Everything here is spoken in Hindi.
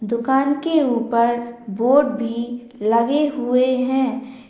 दुकान के ऊपर बोर्ड भी लगे हुए हैं।